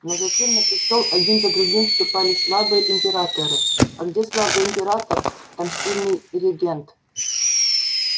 но затем на престол один за другим вступали слабые императоры а где слабый император там сильный регент